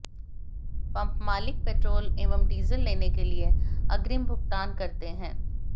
pump मालिक petrol एवं diesel लेने के लिए अग्रिम भुगतान करते हैं